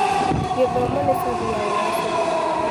Gĩthomo nĩ cabi ya ũgacĩĩru